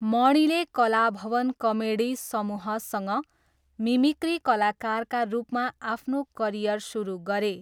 मणिले Kalabhavan comedy समूहसँग mimicry कलाकारका रूपमा आफ्नो करियर सुरु गरे।